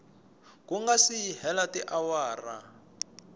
ku nga si hela tiawara